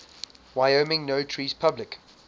wyoming notaries public